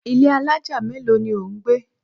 Ilé alájà mélòó ni ò ń gbé?